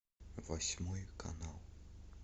восьмой канал